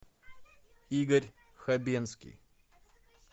игорь хабенский